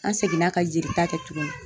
An seginna ka jelita kɛ tuguni.